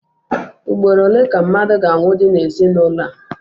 Ugboro ole ka mmadụ ga-anwụdi n'ezinụlọ a?